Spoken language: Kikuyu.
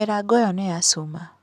Mĩrango ĩyo nĩ ya cuma.